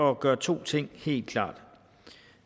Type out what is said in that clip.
at gøre to ting helt klart